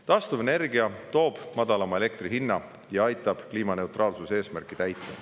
Taastuvenergia toob madalama elektri hinna ja aitab täita kliimaneutraalsuse eesmärki.